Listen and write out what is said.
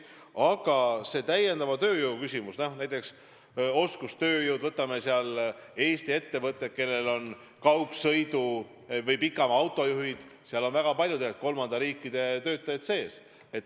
Aga see täiendava tööjõu küsimus, näiteks oskustööjõu küsimus – Eesti ettevõtted, kellel on kaugsõidu- või pikamaa-autojuhid, kasutavad väga paljud kolmandate riikide töötajaid.